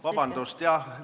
Vabandust, jah!